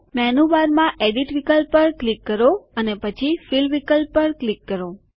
મેનુબારમાં edit વિકલ્પ પર click કરો અને પછી ફિલ વિકલ્પ પર ક્લિક કરો